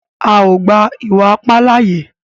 À o gba iwa-ipa láaye!